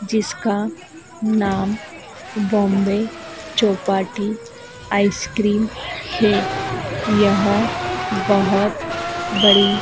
जिसका नाम बॉम्बे चौपाटी आइसक्रीम है यह बहुत बड़ी --